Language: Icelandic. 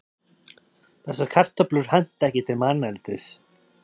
þessar kartöflur henta ekki til manneldis